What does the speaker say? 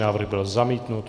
Návrh byl zamítnut.